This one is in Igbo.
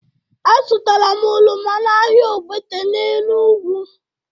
Azụtara m oroma n'ahịa Ogbete n'Enugwu.